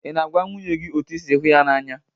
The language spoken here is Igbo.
Ị na-agwa nwunye gị otú ị si hụ ya n'anya?